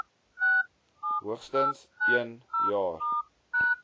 hoogstens een jaar